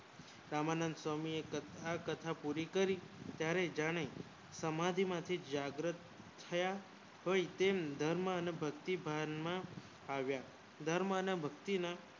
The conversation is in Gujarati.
રામાનંદ સ્વામી એ કથા પુરી કરી ત્યારે જાણે સમાધિ માંથી જાગૃત થયા સ્વયંમધર્મ અને ભક્તિ ભાન માં ધર્મ અને ભક્તિ ભાન ના